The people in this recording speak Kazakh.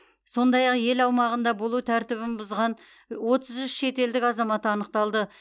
сондай ақ ел аумағында болу тәртібін бұзған отыз үш шетелдік азамат анықталды